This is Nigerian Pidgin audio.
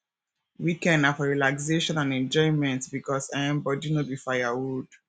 weekend na for relaxation and enjoyment because um body no be firewood